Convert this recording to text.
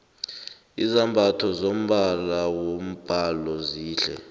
izambatho zombala wombhalo zihle